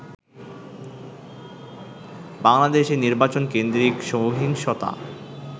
বাংলাদেশে নির্বাচন কেন্দ্রিক সহিংসতা